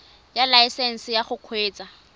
ya laesesnse ya go kgweetsa